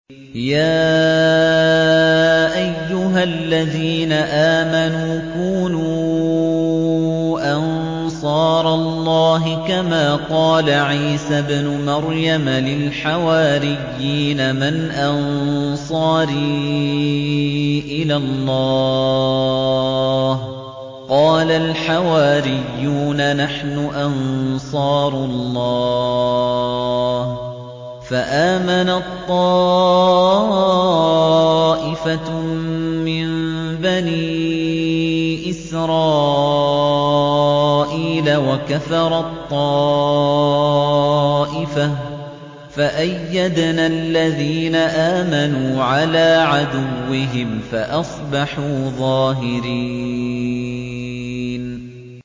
يَا أَيُّهَا الَّذِينَ آمَنُوا كُونُوا أَنصَارَ اللَّهِ كَمَا قَالَ عِيسَى ابْنُ مَرْيَمَ لِلْحَوَارِيِّينَ مَنْ أَنصَارِي إِلَى اللَّهِ ۖ قَالَ الْحَوَارِيُّونَ نَحْنُ أَنصَارُ اللَّهِ ۖ فَآمَنَت طَّائِفَةٌ مِّن بَنِي إِسْرَائِيلَ وَكَفَرَت طَّائِفَةٌ ۖ فَأَيَّدْنَا الَّذِينَ آمَنُوا عَلَىٰ عَدُوِّهِمْ فَأَصْبَحُوا ظَاهِرِينَ